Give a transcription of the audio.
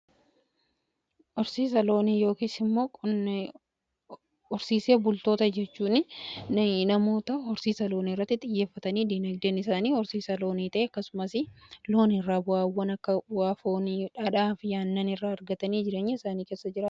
Horsiisa loonii yookiis immoo horsiisee bultoota jechuun namoota horsiisa loonii irratti xiyyeeffatanii dinagdeen isaanii horsiisa loonii ta'e, akkasumas loon irraa bu'aawwan akka bu'aa foonii, dhadhaa fi aannan irraa argatanii jireenya isaanii keessa jiraataniidha.